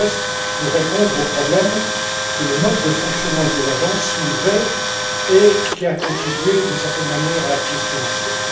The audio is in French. Gauzès pour répondre aux problèmes que le mode de fonctionnement de ces agences soulevait et qui ont contribué, d'une certaine manière, à la crise financière.